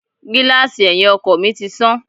Gíláàsì ẹyin ọkọ̀ mi tí sán.